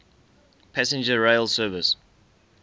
passenger rail service